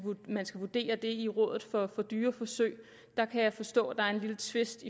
man skal vurdere det i rådet for dyreforsøg jeg kan forstå at der er en lille tvist